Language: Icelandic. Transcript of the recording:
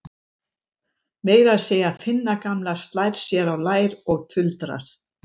Meira að segja Finna gamla slær sér á lær og tuldrar